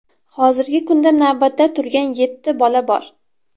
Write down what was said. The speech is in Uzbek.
Hozirgi kunda navbatda turgan yetti bola bor.